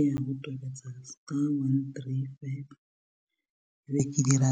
Ee o tobetsa star one three five be ke dira